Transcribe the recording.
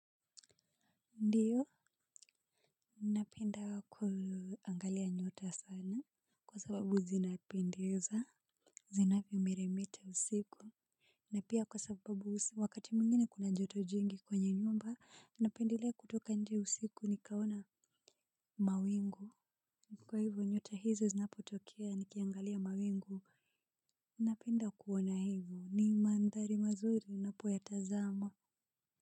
Ndiyo unapenda kuangalia nyota sana kwa sababu zinapendeza. Zinavyo miremeta usiku. Na pia kwa sababu wakati mwingine kuna joto jingi kwenye nyumba napendelea kutoka nje usiku nikaona mawingu. Kwa hivyo nyota hizo zinapo tokea nikiangalia mawingu napenda kuona hivyo ni mandhari mazuri napoyatazama. Kwa hivyo.